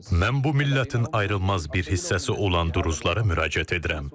Mən bu millətin ayrılmaz bir hissəsi olan duruzlara müraciət edirəm.